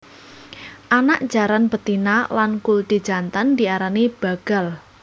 Anak jaran betina lan kuldi jantan diarani bagal